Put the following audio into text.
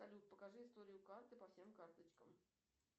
салют покажи историю карты по всем карточкам